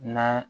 Na